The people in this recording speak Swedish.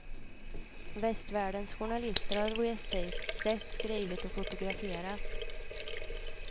Västvärldens journalister har rest dit, sett, skrivit och fotograferat.